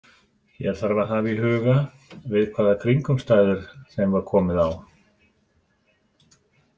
Hér þarf að haga í huga við hvaða kringumstæður þeim var komið á.